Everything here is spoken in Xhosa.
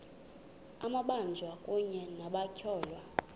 amabanjwa kunye nabatyholwa